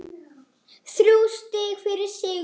Þrjú stig fyrir sigur